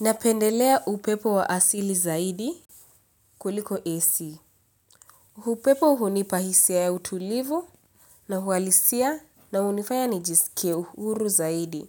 Napendelea upepo wa asili zaidi kuliko AC. Upepo hunipa hisia ya utulivu na hualisia na hunifaya nijisikie uhuru zaidi.